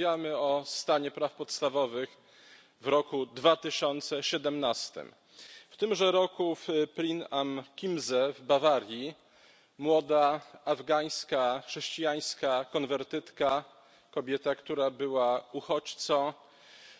Rozmawiamy o stanie praw podstawowych w roku 2017. W tymże roku w Prien am Chiemsee w Bawarii młoda afgańska chrześcijańska konwertytka, kobieta, która była uchodźcą,